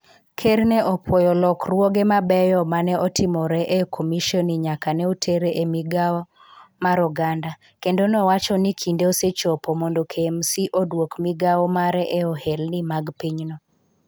Ker ne opuoyo lokruoge mabeyo ma ne otimore e komisheni nyaka ne otere e Migawo mar Oganda, kendo nowacho ni kinde osechopo mondo KMC oduok migawo mare e ohelni mag pinyno.